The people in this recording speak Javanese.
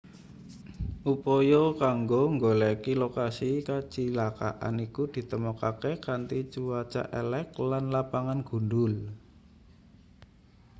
upaya kanggo nggoleki lokasi kacilakan iku ditemokake kanthi cuaca elek lan lapangan gundhul